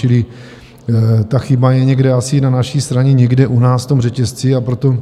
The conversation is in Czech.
Čili ta chyba je někde asi na naší straně, někde u nás v tom řetězci, a proto